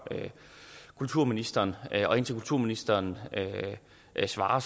kulturministeren og indtil kulturministeren svarer